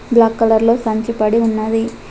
Black కలర్లో సంచి పడి ఉన్నది.